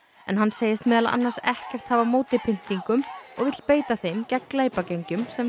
en hann segist meðal annars ekkert hafa á móti pyntingum og vill beita þeim gegn glæpagengjum sem